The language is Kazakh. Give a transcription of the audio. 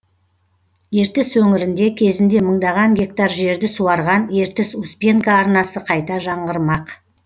ертіс өңірінде кезінде мыңдаған гектар жерді суарған ертіс успенка арнасы қайта жаңғырмақ